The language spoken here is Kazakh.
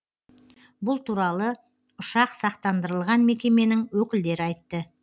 бұл туралы ұшақ сақтандырылған мекеменің өкілдері айтты